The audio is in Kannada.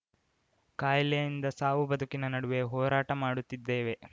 ಕಾಯಿಲೆಯಿಂದ ಸಾವು ಬದುಕಿನ ನಡುವೆ ಹೋರಾಟ ಮಾಡುತ್ತಿದ್ದೇವೆ